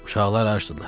Uşaqlar acıdılar.